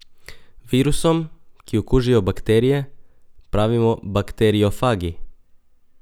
Virusom, ki okužijo bakterije, pravimo bakteriofagi.